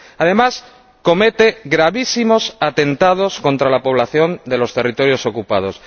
Además, comete gravísimos atentados contra la población de los territorios ocupados.